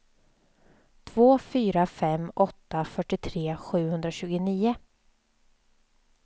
två fyra fem åtta fyrtiotre sjuhundratjugonio